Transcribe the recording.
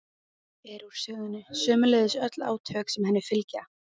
er úr sögunni, sömuleiðis öll átök sem henni fylgja.